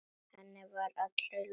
Henni var allri lokið.